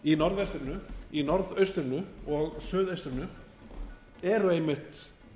í norðvestrinu í norðaustrinu og suðaustrinu eru einmitt